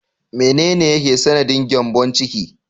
Menene yake sanadin gyambon ciki?